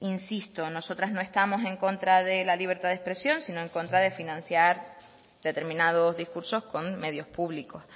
insisto nosotras no estamos en contra de la libertad de expresión sino en contra de financiar determinados discursos con medios públicos